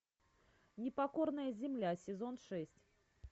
непокорная земля сезон шесть